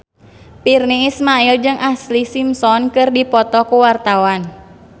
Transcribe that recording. Virnie Ismail jeung Ashlee Simpson keur dipoto ku wartawan